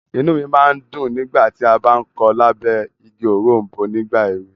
Inú mi máa ń dùn nígbàtí a bá ń kọ lábẹ́ igi òrombó nígbà ẹ̀we.